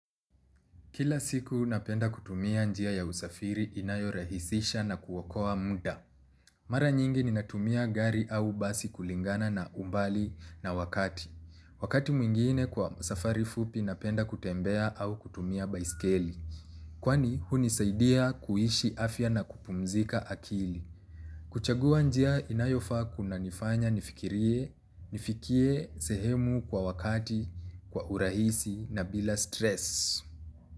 Kila siku napenda kutumia njia ya usafiri inayorahisisha na kuokoa muda. Mara nyingi ni natumia gari au basi kulingana na umbali na wakati. Wakati mwingine kwa usafari fupi napenda kutembea au kutumia baiskeli. Kwani hunisaidia kuhishi afya na kupumzika akili. Kuchagua njia inayofaa kuna nifanya nifikie sehemu kwa wakati, kwa urahisi na bila stress.